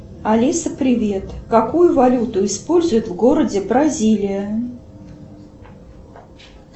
алиса привет какую валюту используют в городе бразилия